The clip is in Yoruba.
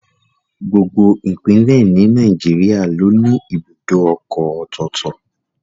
Gbogbo Ìpínlẹ̀ ni Nàìjíríà ló ní ibùdó ọkọ̀ ọ̀tọ̀ọ̀tọ̀